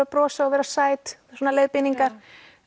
að brosa og vera sæt svona leiðbeiningar